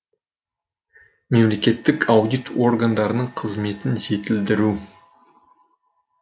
мемлекеттік аудит органдарының қызметін жетілдіру